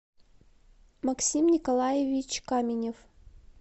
максим николаевич каменев